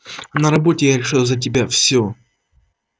а на работе я решаю за тебя всё